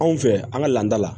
Anw fɛ yan an ka laada la